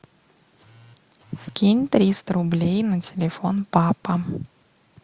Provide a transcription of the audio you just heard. скинь триста рублей на телефон папа